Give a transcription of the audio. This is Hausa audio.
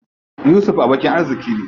Yusuf abokin arziƙi ne.